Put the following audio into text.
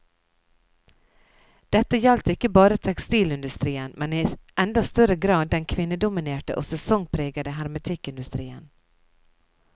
Dette gjaldt ikke bare tekstilindustrien, men i enda større grad den kvinnedominerte og sesongpregede hermetikkindustrien.